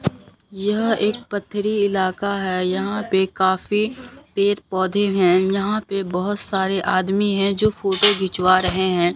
यह एक पथरी इलाका है यहां पे काफी पेड़ पौधे हैं यहां पे बहोत सारे आदमी है जो फोटो घिचवा रहे हैं।